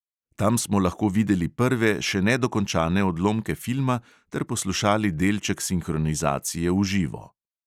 Tam smo lahko videli prve, še nedokončane odlomke filma ter poslušali delček sinhronizacije v živo.